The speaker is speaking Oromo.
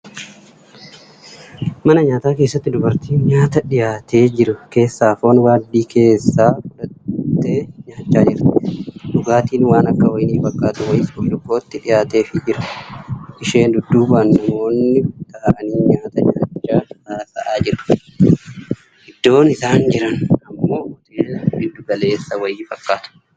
Mana nyaataa keessatti, dubartiin nyaata dhiyaatee jiru keessaa foon waaddii keessaa fudhattee nyaachaa jirti. Dhugaatiin waan akka wayinii fakkaatu wayiis burcuqqootti dhiyaateefii jira. Ishee dudduubaan namoonni taa'anii nyaata nyaachaa hasa'aa jiru. Iddoon isaan jiran ammoo hoteela giddugaleessa wayii fakkaata.